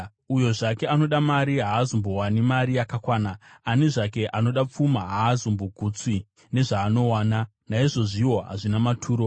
Uyo zvake anoda mari haazombowani mari yakakwana; ani zvake anoda pfuma haazombogutswi nezvaanowana. Naizvozviwo hazvina maturo.